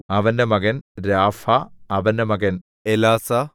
അവന്റെ മകൻ രാഫാ അവന്റെ മകൻ എലാസാ